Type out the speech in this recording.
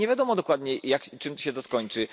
Nie wiadomo dokładnie, czym się to skończy.